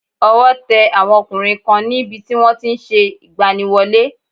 Ọwọ́ te àwọn ọkùnrin kan ní bi tí wọ́n ti n se ìgbaniwọlé